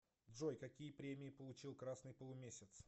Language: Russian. джой какие премии получил красный полумесяц